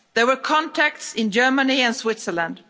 There were contacts in Germany and Switzerland.